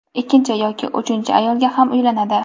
Ikkinchi yoki uchinchi ayolga ham uylanadi.